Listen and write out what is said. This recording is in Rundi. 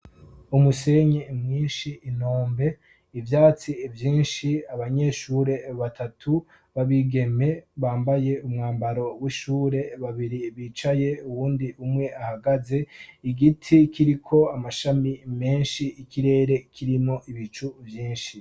umusenye mwishi intombe ibyatsi byinshi abanyeshure batatu babigeme bambaye umwambaro w'ishure babiri bicaye uwundi umwe ahagaze igiti kiriko amashami menshi ikirere kirimo ibicu byinshi